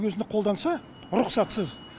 өзіне қолданса рұқсатсыз